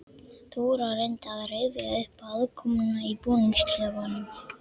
Dóra reyndi að rifja upp aðkomuna í búningsklefanum.